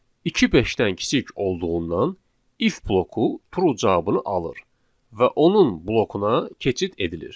İki beşdən kiçik olduğundan if bloku true cavabını alır və onun blokuna keçid edilir.